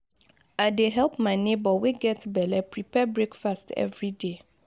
i dey help my nebor wey get belle prepare breakfast everyday.